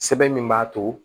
Sɛbɛn min b'a to